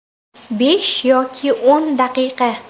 Besh yoki o‘n daqiqa.